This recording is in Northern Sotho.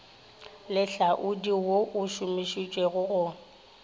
lehlaodi wo o šomišitšwego go